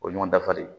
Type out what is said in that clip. O ye ɲɔgɔn dafa de ye